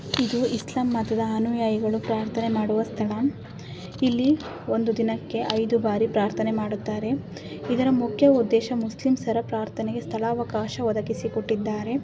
ಇದು ಇಸ್ಲಾಂ ಮತದ ಅನುಯಾಯಿಗಳು ಪ್ರಾರ್ಥನೆ ಮಾಡುವ ಸ್ಥಳ ಇಲ್ಲಿ ಒಂದು ದಿನಕ್ಕೆ ಐದು ಬಾರಿ ಪ್ರಾರ್ಥನೆ ಮಾಡುತ್ತಾರೆ ಇದರ ಮುಖ್ಯ ಉದ್ದೇಶ ಮುಸ್ಲಿಂಸರ ಪ್ರಾರ್ಥನೆಗೆ ಸ್ಥಳಾವಕಾಶ ಒದಗಿಸಿ ಕೊಟ್ಟಿದ್ದಾರೆ.